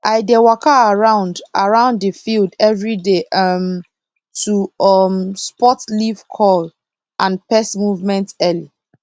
i dey waka around around the field every day um to um spot leaf curl and pest movement early